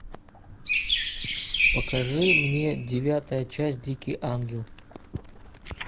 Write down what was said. покажи мне девятая часть дикий ангел